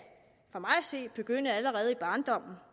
se begynde allerede i barndommen